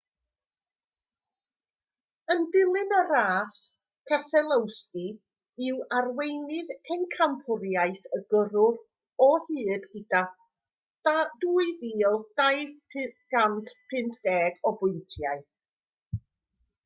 yn dilyn y ras keselowski yw arweinydd pencampwriaeth y gyrwyr o hyd gyda 2,250 o bwyntiau